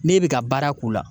Ne bɛ ka baara k'u la